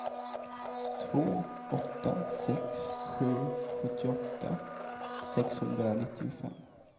två åtta sex sju sjuttioåtta sexhundranittiofem